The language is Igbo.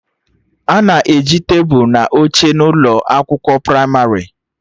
Ana e ji tebụl na oche na ụlọ akwụkwọ pramarị